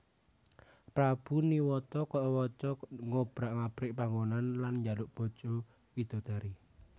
Prabu Niwata Kawaca ngobrak abrik panggonan lan njaluk bojo widodari